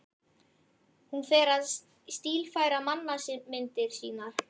Hún fer að stílfæra mannamyndir sínar.